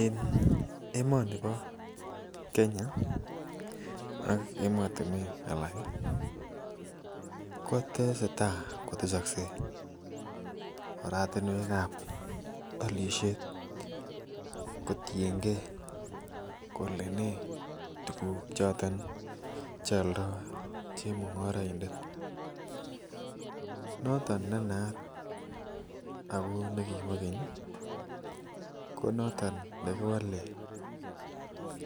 En emoni bo Kenya ak emotunwek alak kotesetai kotesoksei oratumwekab olishet kotiyengee kole nee tukuk choton cheoldo chemgoroindet. Noton naat ako nekibo kenyi ko noton nekiwole